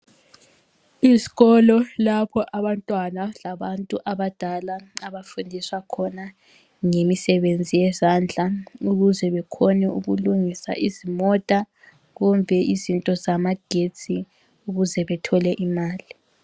Izikolo lapho abantwana labantu abadala abafundiswa khona ngemisebenzi yezandla ukuze bekhone ukulungisa izimota kumbe izinto zamagetsi ukuze bethole imali.